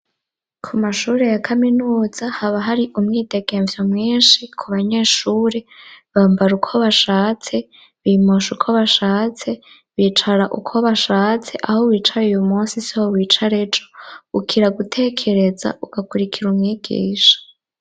Ku mashuri ya kaminuza haba hari umwidegemvyo mwinshi ku banyeshure bambara uko bashatse bimosha uko bashatse bicara uko bashatse aho wicaye uyu munsi siho wicare jo ukira gutekereza ugakurikira umwigisha.